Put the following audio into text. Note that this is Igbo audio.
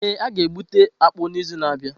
Ee, a ga-egbute akpu n’izu na-abịa.